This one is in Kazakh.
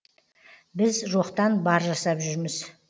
біз жоқтан бар жасап жүрміз